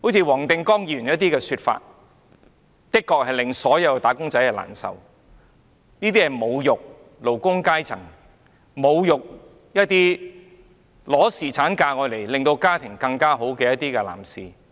黃定光議員的說法的確令所有"打工仔"難受，這是侮辱勞工階層，侮辱一些放取侍產假來改善家庭狀況的男士。